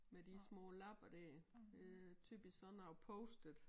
Med de små lapper dér det typisk sådan noget post-it